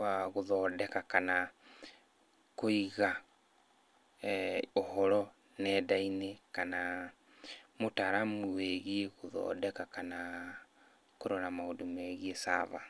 wa, gũthondeka kana kũiga ũhoro nenda-inĩ kana mũtaaramu wĩgiĩ gũthondeka kana kũrora maũndũ megiĩ server.